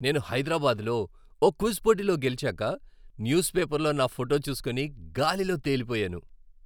నేను హైదరాబాద్లో ఓ క్విజ్ పోటీలో గెలిచాక, న్యూస్ పేపర్లో నా ఫోటో చూసుకుని గాలిలో తేలిపోయాను!.